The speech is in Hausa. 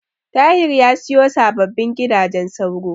Tahir ya siyo sababbin gidajen sauro.